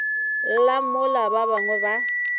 lla mola ba bangwe ba